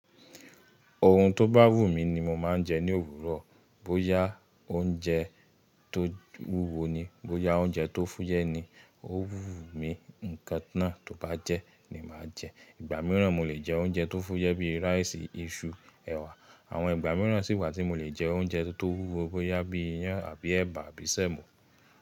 Ohun tó bá wù mí ni mo máa ń jẹ ní òwúrọ̀. Bóyá oúnjẹ tó wúwo ni, bóyá oúnjẹ tó fúyẹ́ ni, ó wù mí, ǹkan náà tó bá jẹ́, ni màá jẹ. Ìgbà mìíràn, mo lè jẹ oúnjẹ tó fúyẹ́ bíi rice, iṣu, ẹ̀wà. Àwọn ìgbà mìíràn sì wà tí mo lè jẹ oúnjẹ tó wúwo bóyá bíi iyán àbí ẹ̀bà àbí sẹ̀mọ́.